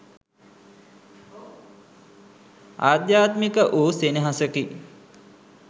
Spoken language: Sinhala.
අධ්‍යාත්මික වූ සෙනෙහසකි.